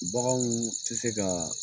Baganw te se kaa